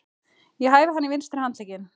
Ég hæfi hann í vinstri handlegginn.